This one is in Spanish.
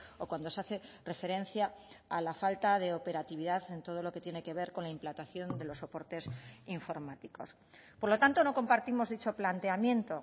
o cuando se hace referencia a la falta de operatividad en todo lo que tiene que ver con la implantación de los soportes informáticos por lo tanto no compartimos dicho planteamiento